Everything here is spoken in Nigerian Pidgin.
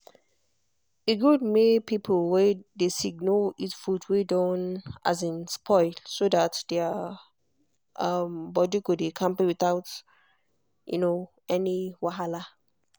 e good make people wey dey sick no eat food wey don um spoil so that their body go dey kampe without um any wahala.